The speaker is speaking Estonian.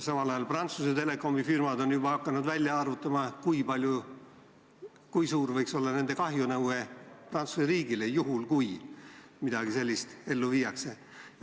Samal ajal on Prantsuse Telekomi firmad hakanud juba välja arvutama, kui suur võiks olla nende kahjunõue Prantsuse riigi vastu, juhul kui midagi sellist ellu viiakse.